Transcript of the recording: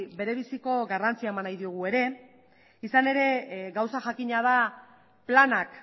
bere biziko garrantzia eman nahi diogu ere izan ere gauza jakina da planak